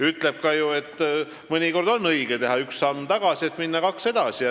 Öeldakse ju, et mõnikord on õige teha üks samm tagasi, selleks et minna kaks edasi.